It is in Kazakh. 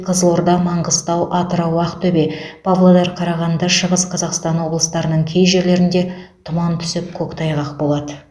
қызылорда маңғыстау атырау ақтөбе павлодар қарағанды шығыс қазақстан облыстарының кей жерлерінде тұман түсіп көктайғақ болады